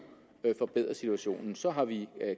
kan forbedre situationen så har vi